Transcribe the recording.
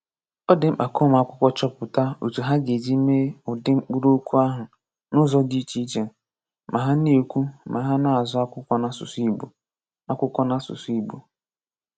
Ọ̀ dị́ mkpa ka ụmụ́akwụ̀kwọ chọ̀pụ̀tà otu hà ga-eji mee ùdị̀ mkpụrụ́okwu ahụ n’ụ̀zọ̀ dị iche iche ma hà na-ekwu ma hà na-azụ akwụkwọ n’asụsụ Ìgbò. akwụkwọ n’asụsụ Ìgbò.